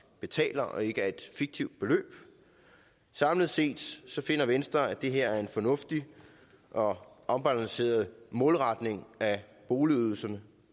betaler og ikke af et fiktivt beløb samlet set finder venstre at det her er en fornuftig og afbalanceret målretning af boligydelser